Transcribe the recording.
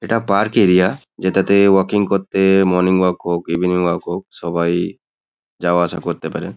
এটা park area. যেটাতে walking করতে মর্নিং ওয়াক হোক ইভিনিং ওয়াক হোক সবাই যাওয়া আসা করতে পারে।